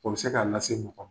O bɛ se k'a lase mɔgɔ,